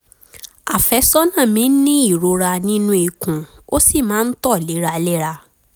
àfẹ́sọ́nà mi ń ní ìrora nínú ikùn ó sì máa ń tọ̀ léraléra